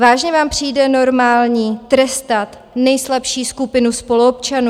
Vážně vám přijde normální trestat nejslabší skupinu spoluobčanů?